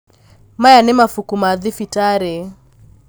maya nĩ mabuku ma thibitarĩ